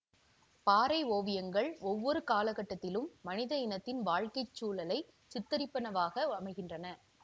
பாறை ஓவியங்கள் ஒவ்வொரு காலக்கட்டத்திலும் மனித இனத்தின் வாழ்க்கை சூழலை சித்திரிப்பனவாக அமைகின்றன